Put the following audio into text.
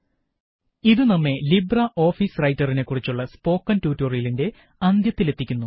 001033 001024 ഇത് നമ്മെ LibreOffice റൈറ്ററിനെ കുറിച്ചുള്ള സ്പോക്കണ് ട്യൂട്ടോറിയലിന്റെ അവസാന ഭാഗത്തെത്തിക്കുന്നു